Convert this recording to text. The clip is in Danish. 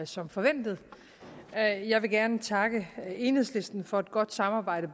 som forventet jeg vil gerne takke enhedslisten for et godt samarbejde